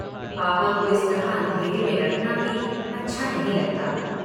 पापा को इस तरह अंधेरे में रखना भी अच्छा नहीं लगता।